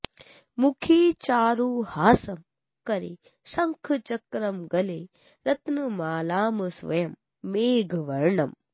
मुखे चारुहासं करे शङ्खचक्रं गले रत्नमालां स्वयं मेघवर्णम्